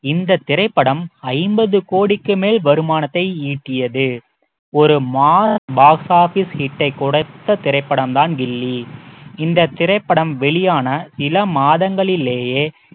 இந்த திரைப்படம் ஐம்பது கோடிக்கு மேல் வருமானத்தை ஈட்டியது ஒரு box office hit ஐ கொடுத்த திரைப்படம் தான் கில்லி இந்த திரைப்படம் வெளியான சில மாதங்களிலேயே